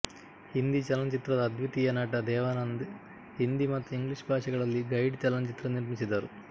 ಹಿಂದಿ ಚಲನ ಚಿತ್ರದ ಅದ್ವಿತೀಯ ನಟ ದೇವಾನಂದ್ ಹಿಂದಿ ಮತ್ತು ಇಂಗ್ಲೀಷ್ ಭಾಷೆಗಳಲ್ಲಿ ಗೈಡ್ ಚಲನಚಿತ್ರ ನಿರ್ಮಿಸಿದರು